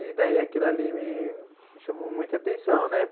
E, daí, aquilo ali me chamou muita atenção, né?